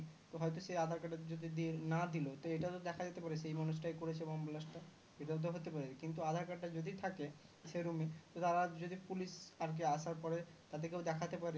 হয় তো সে aadhar card টা যদি না দিলো তো এটাও তো দেখা যেতে পারে সেই মানুষটাই করেছে বোম blast টা এটাও তো হতে পারে কিন্তু aadhar card টা যদি থাকে সেই room এ ত তারা যদি police আর কি আসার পরে তাদের কেউ দেখাতে পারে